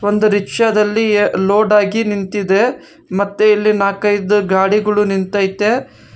ಒಂದು ರಿಕ್ಷಾ ದಲ್ಲಿ ಲೋಡ್ ಹಾಕಿ ನಿಂತಿದೆ ಮತ್ತೆ ಇಲ್ಲಿ ನಾಕೈದು ಗಾಡಿಗಳು ನಿಂತೈತೆ.